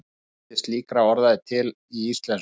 Fjöldi slíkra orða er til í íslensku.